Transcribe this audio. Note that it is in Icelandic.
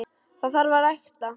Það þarf að rækta.